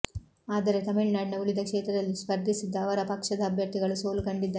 ಆದರೆ ತಮಿಳುನಾಡಿನ ಉಳಿದ ಕ್ಷೇತ್ರದಲ್ಲಿ ಸ್ಪರ್ಧಿಸಿದ್ದ ಅವರ ಪಕ್ಷದ ಅಭ್ಯರ್ಥಿಗಳು ಸೋಲು ಕಂಡಿದ್ದಾರೆ